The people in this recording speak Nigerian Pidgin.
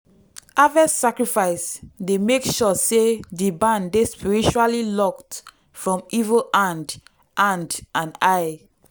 harvest sacrifice dey make sure say di barn dey spiritually locked from evil hand hand and eye.